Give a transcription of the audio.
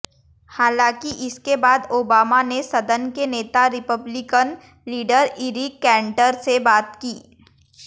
हालांकि इसके बाद ओबामा ने सदन के नेता रिपब्लिकन लीडर इरिक कैंटर से बात की